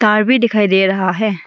तार भी दिखाई दे रहा है।